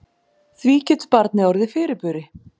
Því getur barnið orðið fyrirburi.